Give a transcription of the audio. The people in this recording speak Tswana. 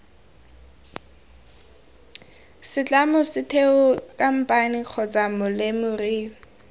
setlamo setheo khamphane kgotsa molemirui